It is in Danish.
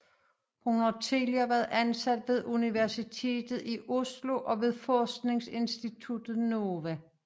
Hun har tidligere været ansat ved Universitetet i Oslo og ved forskningsinstituttet NOVA